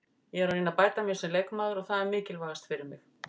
Ég er að reyna að bæta mig sem leikmaður og það er mikilvægast fyrir mig.